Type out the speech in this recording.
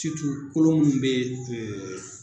kolo minnu bɛ ɛɛ